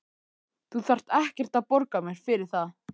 Þú þarft ekkert að borga mér fyrir það.